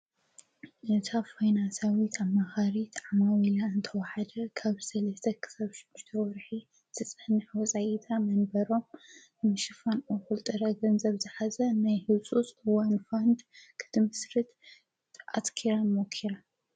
ነታ ፈይናሳዊት ኣ ማኻሪት ዓማዊ ኢላ እንተዉሓደ ካብ ሰልስተክሳብምተወርኂ ተጸንሕ ወፃኢታ መንበሮም እምሽፋን ወዂልጥረ ገንዘብ ዝኃዘ ናይ ሂልሱስ ወንፋንድ ኽድምስርት ኣትኪረ ሞኪረ